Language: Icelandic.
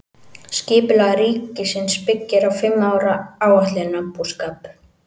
Skipulag ríkisins byggir á fimm ára áætlunarbúskap.